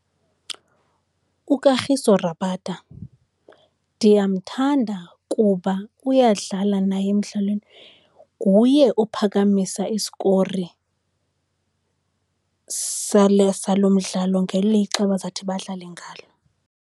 UKagiso Rabada ndiyamthanda kuba uyadlala naye emdlalweni. Nguye ophakamisa isikori sale, salo mdlalo ngelixa abazawuthi badlale ngalo.